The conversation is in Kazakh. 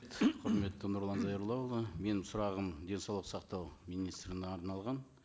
құрметті нұрлан зайроллаұлы менің сұрағым денсаулық сақтау министріне арналған